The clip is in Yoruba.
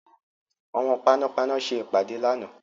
Àwọn panápaná ṣe ìpàdé lánàá.